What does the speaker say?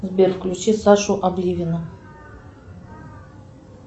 сбер включи сашу обливиона